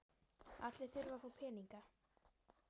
Allir þurfa að fá peninga.